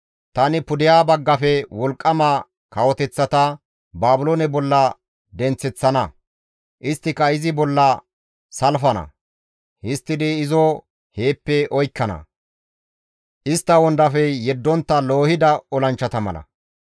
Tani pudeha baggafe wolqqama kawoteththata Baabiloone bolla denththeththana; isttika izi bolla salfana; histtidi izo heeppe oykkana; istta wondafey yeddontta loohida olanchchata mala.